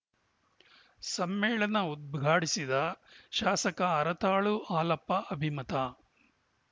ಸಮ್ಮೇಳನ ಉದ್ಘಾಟಿಸಿದ ಶಾಸಕ ಹರತಾಳು ಹಾಲಪ್ಪ ಅಭಿಮತ